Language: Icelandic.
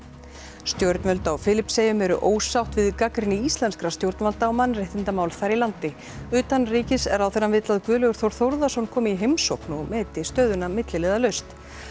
stjórnvöld á Filippseyjum eru ósátt við gagnrýni íslenskra stjórnvalda á mannréttindamál þar í landi utanríkisráðherrann vill að Guðlaugur Þór Þórðarson komi í heimsókn og meti stöðuna milliliðalaust